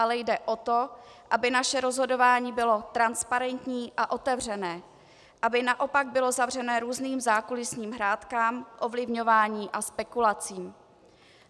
Ale jde o to, aby naše rozhodování bylo transparentní a otevřené, aby naopak bylo zavřené různým zákulisním hrátkám, ovlivňování a spekulacím.